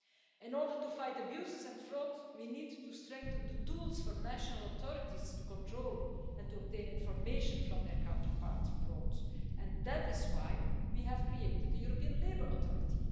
In order to fight abuses and fraud, we need to strengthen the tools for national authorities to control and obtain information from their counterparts abroad, and that this why we have created the European Labour Authority.